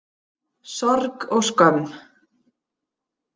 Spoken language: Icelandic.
Sorg og skömm.